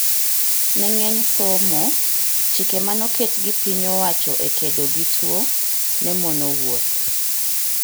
Ne ng'eny somo, chike manoket gi piny owacho e kedo gi tuo ne mono wuoth